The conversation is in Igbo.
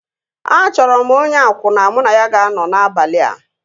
A chọrọ m onye akwụna mụ na ya ga-anọ n'abalị a